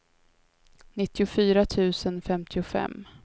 nittiofyra tusen femtiofem